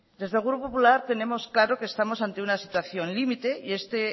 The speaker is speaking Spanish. desde el grupo popular tenemos claro que estamos ante una situación limite y este